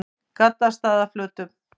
Gaddstaðaflötum